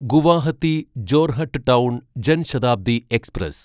Guwahati Jorhat town Jan Shatabdi express